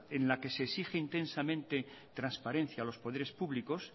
en la que se exige intensamente transparencia a los poderes públicos